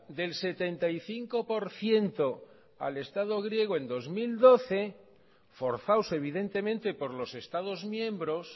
del setenta y cinco por ciento al estado griego en dos mil doce forzados evidentemente por los estados miembros